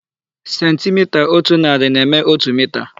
Sentimita ótù narị na-eme ótù mita.